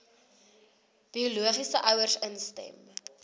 biologiese ouers instem